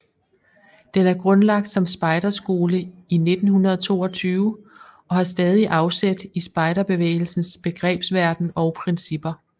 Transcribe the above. Den er grundlagt som spejderskole i 1922 og har stadig afsæt i spejderbevægelsens begrebsverden og principper